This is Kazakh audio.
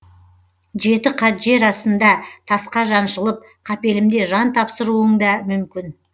жеті қат жер астында тасқа жаншылып қапелімде жан тапсыруың да мүмкін